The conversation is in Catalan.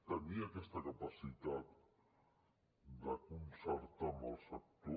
tenir aquesta capacitat de concertar amb el sector